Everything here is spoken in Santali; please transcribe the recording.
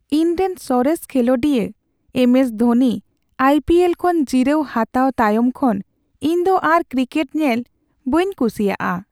ᱤᱧᱨᱮᱱ ᱥᱚᱨᱮᱥ ᱠᱷᱮᱞᱳᱰᱤᱭᱟᱹ ᱮᱢ ᱮᱥ ᱫᱷᱳᱱᱤ ᱟᱭᱹᱯᱤᱹᱮᱞ ᱠᱷᱚᱱ ᱡᱤᱨᱟᱹᱣ ᱦᱟᱛᱟᱣ ᱛᱟᱭᱚᱢ ᱠᱷᱚᱱ, ᱤᱧ ᱫᱚ ᱟᱨ ᱠᱨᱤᱠᱮᱴ ᱧᱮᱞ ᱵᱟᱹᱧ ᱠᱩᱥᱤᱭᱟᱜᱼᱟ ᱾